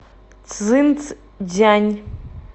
цзинцзян